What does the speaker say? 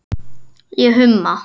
Ég humma.